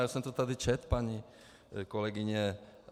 Já jsem to tady četl, paní kolegyně.